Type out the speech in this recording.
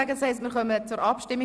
Dann kommen wir zur Abstimmung.